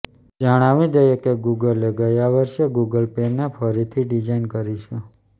જણાવી દઈએ કે ગૂગલે ગયા વર્ષે ગૂગલ પેને ફરીથી ડિઝાઇન કરી છે